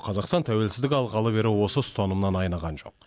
қазақстан тәуелсіздік алғалы бері осы ұстанымынан айныған жоқ